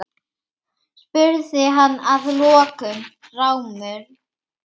spurði hann að lokum rámur.